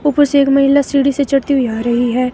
ऊपर से एक महिला सीढ़ी से चढ़ती हुई आ रही है.